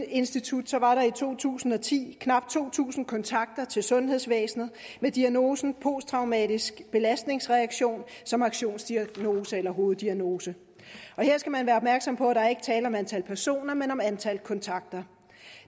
institut var der i to tusind og ti knap to tusind kontakter til sundhedsvæsenet med diagnosen posttraumatisk belastningsreaktion som aktionsdiagnose eller hoveddiagnose her skal man være opmærksom på at der ikke er tale om antal personer men om antal kontakter